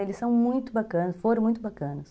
Eles são muito bacanas, foram muito bacanas.